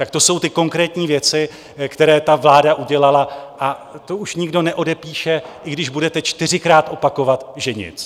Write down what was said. Tak to jsou ty konkrétní věci, které ta vláda udělala, a to už nikdo neodepíše, i když budete čtyřikrát opakovat, že nic.